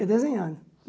Desenhando.